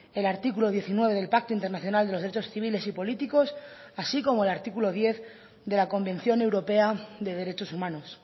el artículo diecinueve del pacto internacional de los derechos civiles y políticos así como el artículo diez de la convención europea de derechos humanos